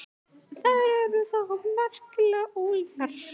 Þær eru þó allar merkilega ólíkar.